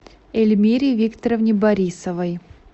эльмире викторовне борисовой